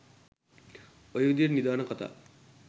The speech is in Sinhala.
ඔය විදියට නිධාන කතා